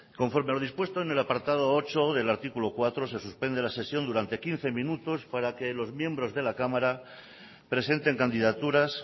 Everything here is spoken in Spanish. conforme a lo dispuesto en el apartado ocho del artículo cuatro se suspende la sesión durante quince minutos para que los miembros de la cámara presenten candidaturas